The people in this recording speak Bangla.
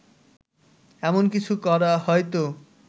এমন কিছু করা হয়তো